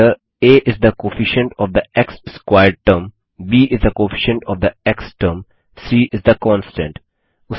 where a is the coefficient of the x squared term b is the coefficient of the x term c is the constant